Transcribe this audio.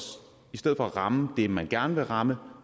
ramme det man gerne vil ramme